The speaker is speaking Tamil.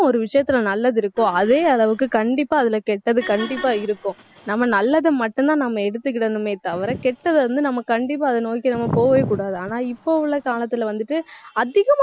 ஒரு விஷயத்துல நல்லது இருக்கோ அதே அளவுக்கு கண்டிப்பா அதுல கெட்டது கண்டிப்பா இருக்கும். நம்ம நல்லதை மட்டும்தான் நம்ம எடுத்துக்கிடணுமே தவிர கெட்டதை வந்து, நம்ம கண்டிப்பா அதை நோக்கி நம்ம போகவே கூடாது. ஆனா இப்ப உள்ள காலத்துல வந்துட்டு, அதிகமா